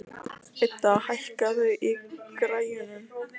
Idda, hækkaðu í græjunum.